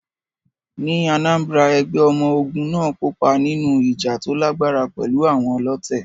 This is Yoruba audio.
Ní Anambra, ẹgbẹ́ ọmọ ogun náà kópa nínú ìjà tó lágbára pẹ̀lú àwọn ọlọ̀tẹ̀.